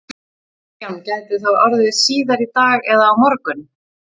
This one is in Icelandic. Kristján: Gæti það orðið síðar í dag eða á morgun?